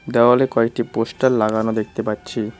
দেওয়ালে কয়েকটি পোস্টার লাগানো দেখতে পাচ্ছি।